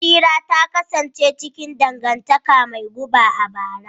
Bashira ta kasance cikin dangantaka mai guba a bara.